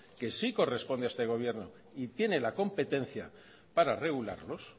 que sí corresponde a este gobierno y tiene la competencia para regularlos